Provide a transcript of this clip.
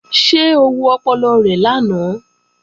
Ṣé o wo ọpọlọ rẹ lánàá?